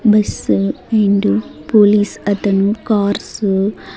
Bus రెండు police అతను cars .